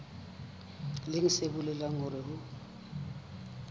leng se bolelang hore ho